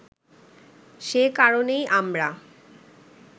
সে কারণেই আমরা